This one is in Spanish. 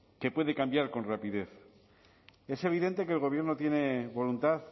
que puede cambiar con rapidez es evidente que el gobierno tiene voluntad